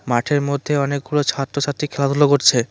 মাঠের মধ্যে অনেকগুলো ছাত্রছাত্রী খেলাধুলা করছে।